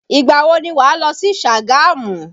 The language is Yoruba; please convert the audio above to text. Ìgbà wo ni wà lọ sí Sagamu?